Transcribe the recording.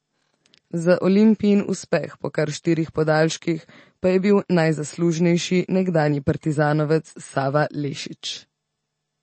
Za Olimpijin uspeh po kar štirih podaljških pa je bil najzaslužnejši nekdanji partizanovec Sava Lešić.